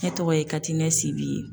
Ne tɔgɔ ye katinɛ sibi ye